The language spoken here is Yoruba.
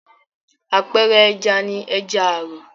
Àpẹẹrẹ ẹja ni ẹja àrọ̀.